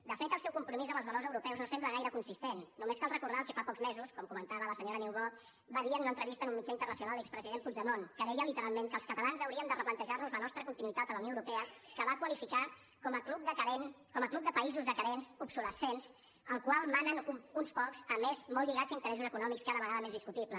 de fet el seu compromís amb els valors europeus no sembla gaire consistent només cal recordar el que fa pocs mesos com comentava la senyora niubó va dir en una entrevista en un mitjà internacional l’expresident puigdemont que deia literalment que els catalans hauríem de replantejar nos la nostra continuïtat a la unió europea que va qualificar com a club de països decadents obsolescents al qual manen uns pocs a més molt lligats a interessos econòmics cada vegada més discutibles